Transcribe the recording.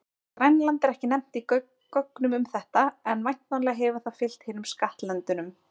Grænland er ekki nefnt í gögnum um þetta, en væntanlega hefur það fylgt hinum skattlöndunum.